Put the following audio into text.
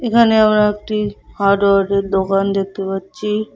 এখানে আমরা একটি হার্ডওয়ারের দোকান দেখতে পাচ্ছি।